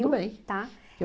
Tudo bem. Tá?